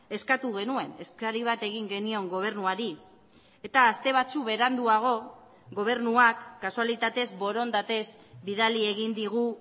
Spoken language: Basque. eskatu genuen eskari bat egin genion gobernuari eta aste batzuk beranduago gobernuak kasualitatez borondatez bidali egin digu